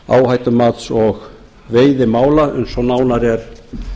áhættumats og veiðimála eins og nánar er